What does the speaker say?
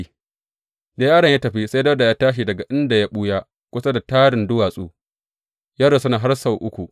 Da yaron ya tafi, sai Dawuda ya tashi daga inda ya ɓuya kusa da tarin duwatsu, ya rusuna har sau uku.